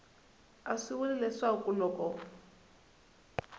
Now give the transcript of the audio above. a swi vuli leswaku loko